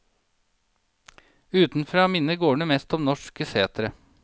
Utenfra minner gårdene mest om norske setre.